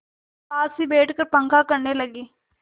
पास ही बैठकर पंखा करने लगी